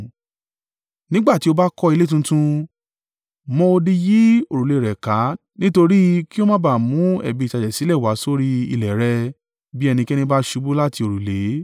Nígbà tí o bá kọ́ ilé tuntun, mọ odi yí òrùlé rẹ̀ ká nítorí kí o má ba à mú ẹ̀bi ìtàjẹ̀ sílẹ̀ wá sórí ilẹ̀ rẹ bí ẹnikẹ́ni bá ṣubú láti òrùlé.